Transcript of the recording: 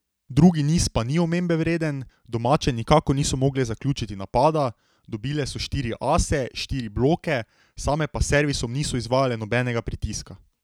Drugi niz pa ni omembe vreden, domače nikakor niso mogle zaključiti napada, dobile so štiri ase, štiri bloke, same pa s servisom niso izvajale nobenega pritiska.